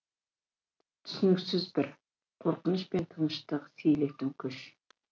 түсініксіз бір қорқыныш пен тыныштық сейілтетін күш